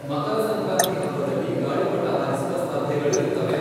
ಮಕರ ಸಂಕ್ರಾಂತಿ ಹಬ್ಬದಲ್ಲಿ ಗಾಳಿಪಟ ಹಾರಿಸುವ ಸ್ಪರ್ಧೆಗಳಿರುತ್ತವೆ.